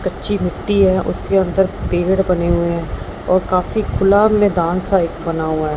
कच्ची मिट्टी है उसके अंदर पेड़ बने हुए हैं और काफी खुला मैदान सा एक बना हुआ--